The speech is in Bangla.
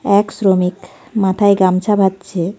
এক শ্রমিক মাথায় গামছা বাঁধছে .